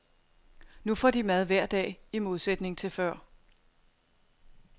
Nu får de mad hver dag, i modsætning til før.